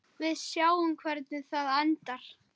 Við sjáum hvernig það endar.